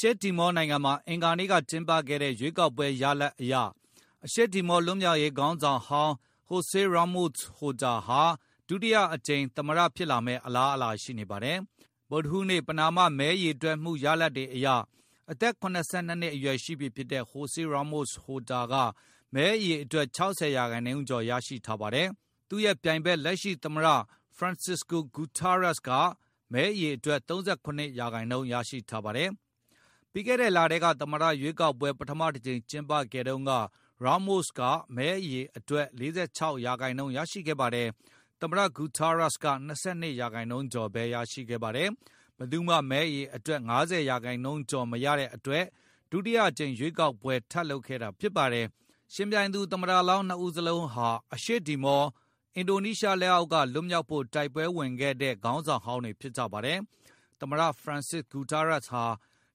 ရှေ့တီမောနိုင်ငံမှာ အင်္ဂါနေ့က ကျင်းပခဲ့တဲ့ ရွေးကောက်ပွဲရလဒ်အရ အရှေ့တီမော လွတ်မြောက်ရေး ခေါင်းဆောင်ဟောင်း Jose Ramos Horta ဟာ ဒုတိယအကြိမ် သမ္မတဖြစ်လာမယ့် အလားအလာရှိနေပါတယ်။ ဗုဒ္ဓဟူးနေ့ ပဏာမ မဲရေတွက်မှုရလဒ်တွေအရ အသက် ၇၂ နှစ်အရွယ်ရှိပြီဖြစ်တဲ့ Jose Ramos Horta က မဲအရေအတွက် ၆၀ ရာနှုန်းကျော် ရရှိထားပါတယ်။ သူ့ရဲ့ပြိုင်ဘက် လက်ရှိသမ္မတ Francisco Guterres က မဲအရေအတွက် ၃၇ ရာနှုန်းရရှိပါတယ်။ ပြီးခဲ့တဲ့လထဲက သမ္မတရွေးကောက်ပွဲ ပထမအကြိမ် ကျင်းပခဲ့တုန်းက Jose Ramos Horta က မဲအရေအတွက်ရဲ့ ၄၆ % ရရှိခဲ့ပါတယ်။ သမ္မတ Francisco Guterres က ၂၂ ရာနှုန်းကျော်ဘဲ ရရှိခဲ့ပါတယ်။ ဘယ်သူမှ မဲအရေအတွက် ၅၀ ရာနှုန်းကျော် အနိုင်မရတဲ့အတွက် ဒုတိယ အကြိမ်ရွေးကောက်ပွဲ ထပ်လုပ်ခဲ့တာဖြစ်ပါတယ်။ ယှဉ်ပြိုင်သူ သမ္မတလောင်း နှစ်ဦးစလုံးဟာ အရှေ့တီမော အင်ဒိုနီးရှားအောက်က လွတ်မြောက်ဖို့ တိုက်ပွဲဝင်ခဲ့ကြတဲ့ ခေါင်းဆောင်ဟောင်းတွေ ဖြစ်ကြပါတယ်။ သမ္မတ Francisco Guterres ဟာ